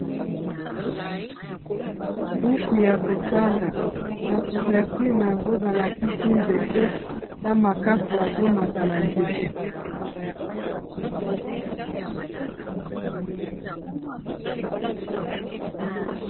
Buku ya kotanga na couverture nango balakisi nzete na makaku azo mata na nzete.